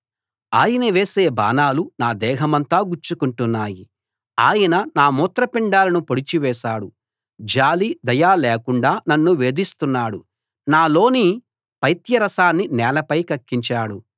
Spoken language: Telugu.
ఆయన వేసే బాణాలు నా దేహమంతా గుచ్చుకుంటున్నాయి ఆయన నా మూత్రపిండాలను పొడిచివేశాడు జాలి దయ లేకుండా నన్ను వేధిస్తున్నాడు నాలోని పైత్యరసాన్ని నేలపై కక్కించాడు